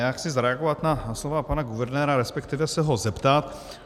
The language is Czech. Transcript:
Já chci zareagovat na slova pana guvernéra, respektive se ho zeptat.